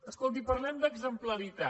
escolti parlem d’exemplaritat